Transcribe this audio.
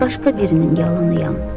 mən başqa birinin yalanıyam.